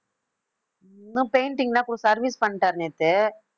painting லாம் கொடுத்து service பண்ணிட்டாரு நேத்து